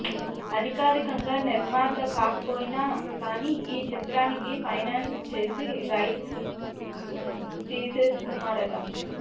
అధికారికంగా నిర్మాత కాకపోయినా కానీ ఈ చిత్రానికి ఫైనాన్స్ చేసి రైట్స్ తీసేసుకున్నాడట